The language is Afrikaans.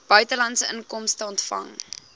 buitelandse inkomste ontvang